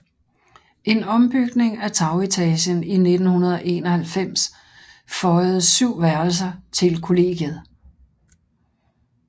En ombygning af tagetagen i 1991 føjede syv værelser til kollegiet